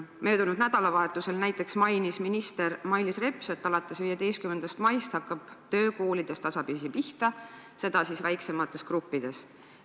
Möödunud nädalavahetusel näiteks mainis minister Mailis Reps, et alates 15. maist hakkab töö koolides tasapisi pihta, seda siis väiksemates gruppides.